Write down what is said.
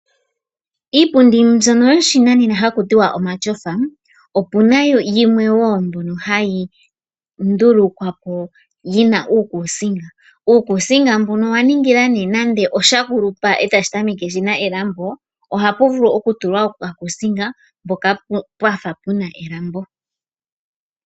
Iipundi mbyono yoshinanena haku tiwa omatyofa opuna wo yimwe mbyono hayi ndulukwa po yina uukusinga ,uukusinga mbuno owa ningila nee nande osha kulupa nenge shina elambo ohashi vulu oku tulwa oka kuusinga mpoka pena elambo.